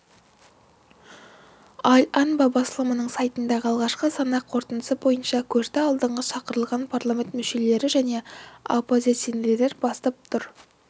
аль-анба басылымының сайтындағы алғашқы санақ қорытындысы бойынша көшті алдыңғы шақырылған парламент мүшелері және оппозиционерлер бастап тұр